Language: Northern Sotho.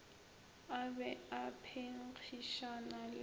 a be a phenkgišana le